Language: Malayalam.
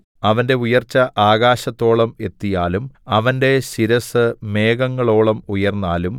അവന്റെ ഉയർച്ച ആകാശത്തോളം എത്തിയാലും അവന്റെ ശിരസ്സ് മേഘങ്ങളോളം ഉയർന്നാലും